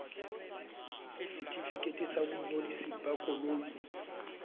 setefikeiti sa boingodiso ba koloi